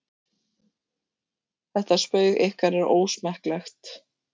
Þetta spaug ykkar er ósmekklegt.